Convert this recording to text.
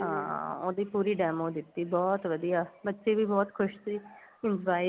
ਹਾਂ ਉਹਦੀ ਪੂਰੀ demo ਦਿੱਤੀ ਬਹੁਤ ਵਧੀਆ ਬੱਚੇ ਵੀ ਬਹੁਤ ਖੁਸ਼ ਸੀ ਹੁਣ buy